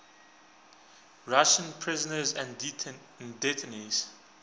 russian prisoners and detainees